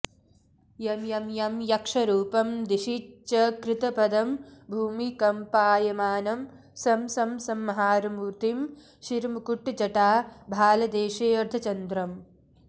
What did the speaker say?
यं यं यं यक्षरूपं दिशिचकृतपदं भूमिकम्पायमानं सं सं संहारमूर्तिं शिरमुकुट्जटा भालदेशेऽर्धचन्द्रम्